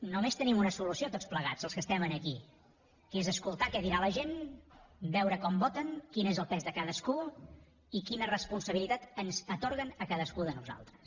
només tenim una solució tots plegats els que estem aquí que és escoltar què dirà la gent veure com voten quin és el pes de cadascú i quina responsabilitat ens atorguen a cadascú de nosaltres